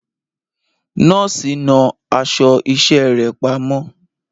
Nọ́ọ̀sì náà aṣọ iṣẹ́ rẹ̀ pamọ́.